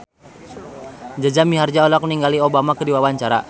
Jaja Mihardja olohok ningali Obama keur diwawancara